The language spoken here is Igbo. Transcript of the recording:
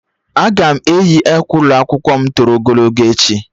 Aga m eyi akwa ụlọ m nke toro ogologo echi